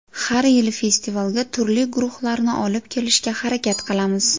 Har yili festivalga turli guruhlarni olib kelishga harakat qilamiz.